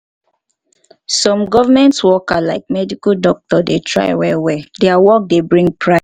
some government worker like medical doctor dey try well well their work dey bring pride